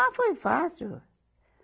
Ah, foi fácil.